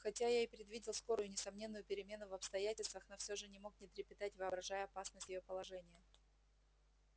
хотя я и предвидел скорую и несомненную перемену в обстоятельствах но все же не мог не трепетать воображая опасность её положения